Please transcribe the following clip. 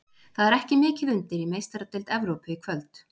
Það er ekki mikið undir í Meistaradeild Evrópu í kvöld.